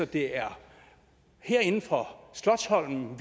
det er herinde fra slotsholmen